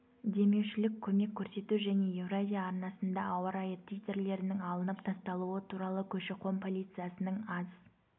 демеушілік көмек көрсету және евразия арнасында ауа-райы титрлерінің алынып тасталуы туралы көші-қон полициясының аз